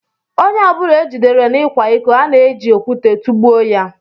Ónyé ọbula ejidere n'ikwa ịkọ, ana eji okwute tugbuo ya